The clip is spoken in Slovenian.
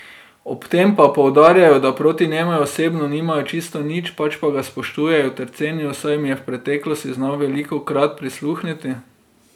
Ob tem pa poudarjajo, da proti njemu osebno nimajo čisto nič, pač pa ga spoštujejo ter cenijo, saj jim je v preteklosti znal velikokrat prisluhniti.